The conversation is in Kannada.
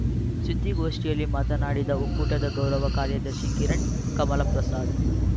ಸುದ್ದಿಗೋಷ್ಠಿಯಲ್ಲಿ ಮಾತನಾಡಿದ ಒಕ್ಕೂಟದ ಗೌರವ ಕಾರ್ಯದರ್ಶಿ ಕಿರಣ್ ಕಮಲಪ್ರಸಾದ್‌